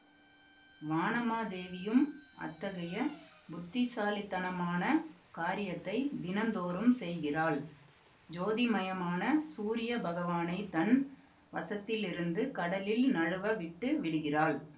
வானமாதேவியும் அத்தகைய புத்திசாலித்தனமான காரியத்தை தினந்தோறும் செய்கிறாள் ஜோதிமயமான சூரிய பகவானைத் தன் வசத்திலிருந்து கடலில் நழுவ விட்டு விடுகிறாள்